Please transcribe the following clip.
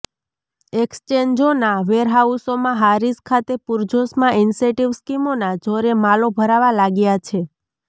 એક્સ્ચેન્જોના વેરહાઉસોમાં હારીજ ખાતે પૂરજોશમાં ઈન્સેન્ટિવ સ્કીમોના જોરે માલો ભરાવા લાગ્યા છે